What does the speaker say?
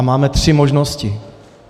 A máme tři možnosti.